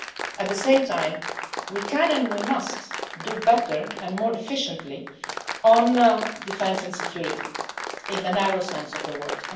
But, at the same time, we can and we must do better and more efficiently on defence and security in the narrow sense of the word.